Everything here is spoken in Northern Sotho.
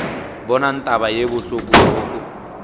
bonang taba ye bohloko roko